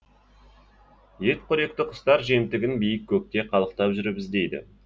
етқоректі құстар жемтігін биік көкте қалықтап жүріп іздейді